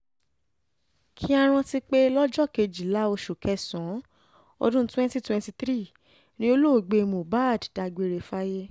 kí á rántí pé lọ́jọ́ kejìlá oṣù kẹsàn-án ọdún twenty twenty three ni olóògbé mohbak dágbére fáyé